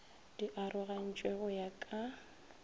di arogantšwe go ya ka